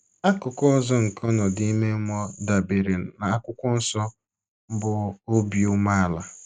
Akụkụ ọzọ nke ọnọdụ ime mmụọ dabeere na akwụkwọ nsọ bụ obi umeala.